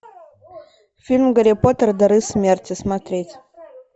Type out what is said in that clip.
фильм гарри поттер дары смерти смотреть